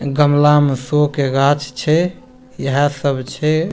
गमला में शो के गाछ छे यह सब छे --